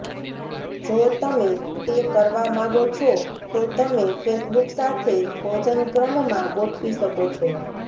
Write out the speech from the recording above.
જો તમે તે કરવા માગો છો તો તમે ફેસબુક સાથે ભોજન ક્રમમાં ગોઠવી શકો છો